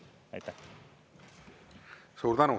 Suur tänu!